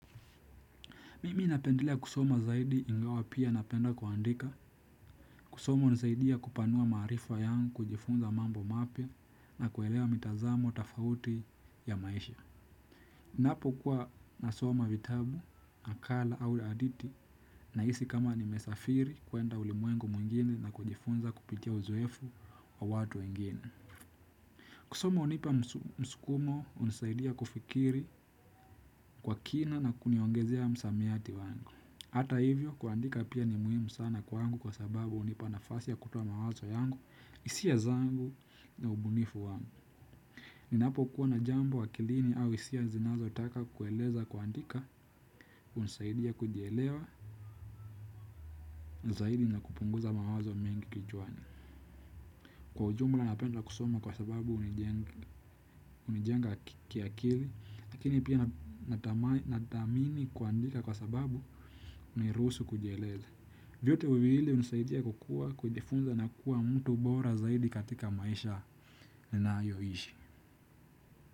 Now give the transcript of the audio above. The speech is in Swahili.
Mimi napendelea kusoma zaidi ingawa pia napenda kuandika, kusoma hunisaidia kupanua maarifa yangu kujifunza mambo mapya na kuelewa mitazamo tofauti ya maisha. Napokuwa nasoma vitabu, akala au hadithi nahisi kama nimesafiri kwenda ulimwengu mwingine na kujifunza kupitia uzoefu wa watu wengine. Kusoma hunipa msukumo hunisaidia kufikiri kwa kina na kuniongezea msamiati wangu. Hata hivyo, kuandika pia ni muhimu sana kwangu kwa sababu hunipa nafasi ya kutoa mawazo yangu, hisia zangu na ubunifu wangu. Ninapokuwa na jambo akilini au hisia zinazotaka kueleza kuandika, hunisaidia kujielewa zaidi na kupunguza mawazo mengi kichwani. Kwa ujumla napenda kusoma kwa sababu hunijenga kiakili, lakini pia nathamini kuandika kwa sababu hunirusu kujieleza. Vyote viwili hunisaidia kukua kujifunza na kuwa mtu bora zaidi katika maisha ninayoishi.